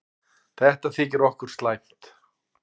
Þetta þykir okkur slæmt.